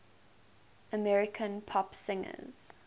american pop singers